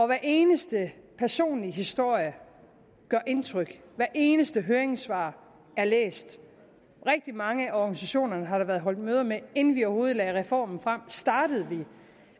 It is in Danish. hver eneste personlige historie gør indtryk hver eneste høringssvar er læst rigtig mange af organisationerne har der været holdt møde med inden vi overhovedet lagde reformen frem startede vi